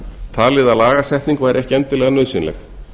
talið að lagasetning væri ekki endilega nauðsynleg